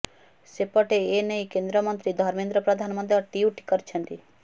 ସେପଟେ ଏନେଇ କେନ୍ଦ୍ରମନ୍ତ୍ରୀ ଧର୍ମେନ୍ଦ୍ର ପ୍ରଧାନ ମଧ୍ୟ ଟ୍ୱିଟ୍ କରିଛନ୍ତି